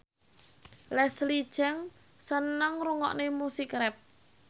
Leslie Cheung seneng ngrungokne musik rap